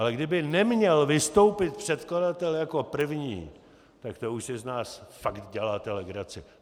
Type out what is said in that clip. Ale kdyby neměl vystoupit předkladatel jako první, tak to už si z nás fakt děláte legraci.